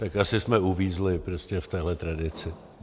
Tak asi jsme uvízli prostě v téhle tradici.